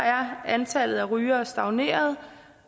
er antallet af rygere stagneret